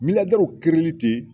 li ten